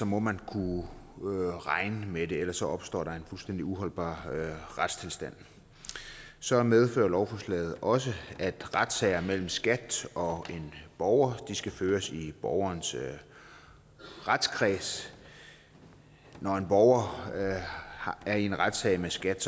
må man kunne regne med det for ellers opstår der en fuldstændig uholdbar retstilstand så medfører lovforslaget også at retssager mellem skat og en borger skal føres i borgerens retskreds når en borger er i en retssag mod skat